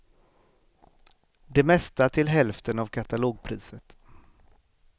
Det mesta till hälften av katalogpriset.